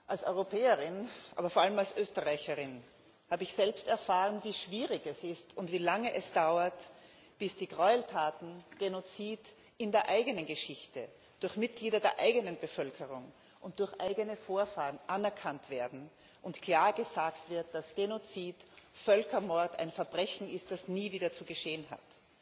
Als Europäerin, aber vor allem als Österreicherin, habe ich selbst erfahren, wie schwierig es ist und wie lange es dauert, bis die Gräueltaten Genozid in der eigenen Geschichte durch Mitglieder der eigenen Bevölkerung und durch eigene Vorfahren anerkannt werden und klar gesagt wird, dass Genozid, Völkermord, ein Verbrechen ist, das nie wieder zu geschehen hat,